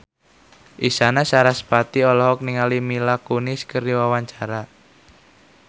Isyana Sarasvati olohok ningali Mila Kunis keur diwawancara